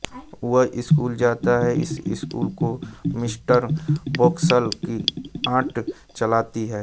वह स्कूल जाता है इस स्कूल को मिस्टर वोप्सल की आंट चलाती हैं